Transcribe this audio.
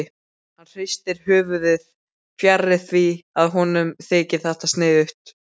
Hann hristir höfuðið, fjarri því að honum þyki þetta sniðugt.